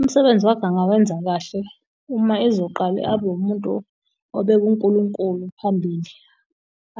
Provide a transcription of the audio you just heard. Umsebenzi wakhe angawenza kahle uma ezoqale abe umuntu obeka uNkulunkulu phambili.